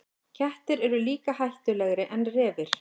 Kettir eru líka hættulegri en refir.